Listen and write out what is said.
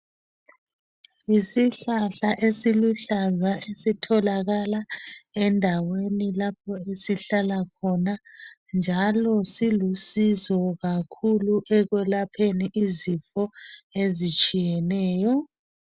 Yisihlahla esiluhlaza esitholakala endaweni lapho esihlala khona njalo silusizo kakhulu ekwelapheni izifo ezitshiyeneyo.